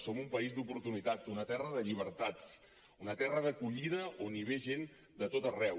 som un país d’oportunitat una terra de llibertats una terra d’acollida on ve gent de tot arreu